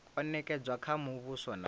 o nekedzwa kha muvhuso na